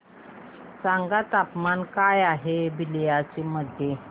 सांगा तापमान काय आहे आज बलिया मध्ये